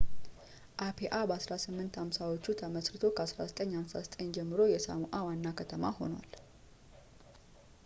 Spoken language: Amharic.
አፒአ በ1850ዎቹ ተመሥርቶ ከ1959 ጀምሮ የሳሞኣ ዋና ከተማ ሆኗል